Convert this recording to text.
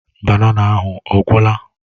Banana ahụ ọ gwụla?